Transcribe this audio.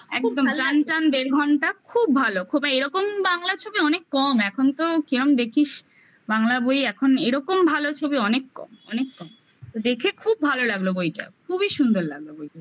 একদম টান টান দেড় ঘণ্টা খুব ভালো খুব এইরকম বাংলা ছবি অনেক কম এখন তো কিরম দেখিস বাংলা বই এখন এরকম ভালো ছবি অনেক কম অনেক কম দেখে খুব ভালো লাগলো বইটা খুবই সুন্দর লাগলো বইটা ।